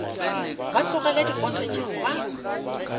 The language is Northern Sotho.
ba tlogele diposo tšeo ba